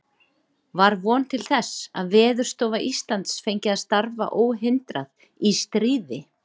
Var von til þess, að Veðurstofa Íslands fengi að starfa óhindrað í stríði?